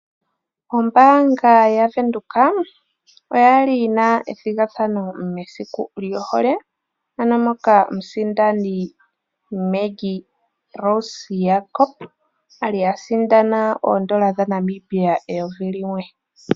Ombaanga yavenduka oyali yina ethigathano mesiku lyohole ano moka omusindani Maggie Rose Jacob ali asindana oondola dhaNamibia eyovi limwe.